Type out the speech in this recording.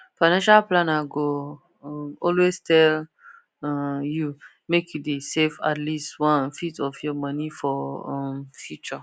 financial planner go um always tell um you make you dey save at least onefifth of your money for um future